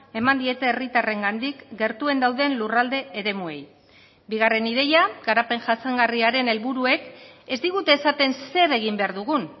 eman diete herritarrengandik gertuen dauden lurralde eremuei bigarren ideia garapen jasangarriaren helburuek ez digute esaten zer egin behar dugun